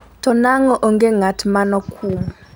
to nang'o onge ng'at manokum?